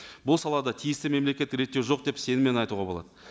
бұл салада тиісті мемлекеттік реттеу жоқ деп сеніммен айтуға болады